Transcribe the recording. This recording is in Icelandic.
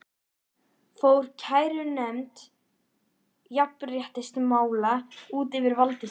Fór kærunefnd jafnréttismála út fyrir valdsvið sitt?